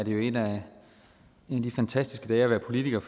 jo en af de fantastiske dage at være politiker